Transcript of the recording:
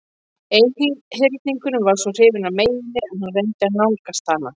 Einhyrningurinn var svo hrifinn af meyjunni að hann reyndi að nálgast hana.